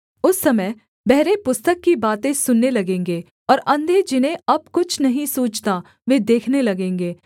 उस समय बहरे पुस्तक की बातें सुनने लगेंगे और अंधे जिन्हें अब कुछ नहीं सूझता वे देखने लगेंगे